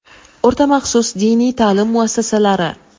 O‘rta maxsus diniy ta’lim muassasalari:.